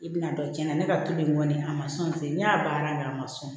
I bɛna dɔn cɛnna ne ka to in kɔni a ma sɔn ten ne y'a baara kɛ a ma sɔn